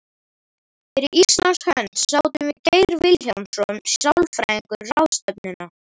Fyrir Íslands hönd sátum við Geir Vilhjálmsson sálfræðingur ráðstefnuna.